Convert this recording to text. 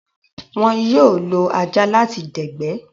Wón yóò lo ajá láti dẹ̀gbẹ́